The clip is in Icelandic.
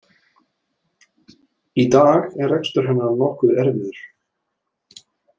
Í dag er rekstur hennar nokkuð erfiður.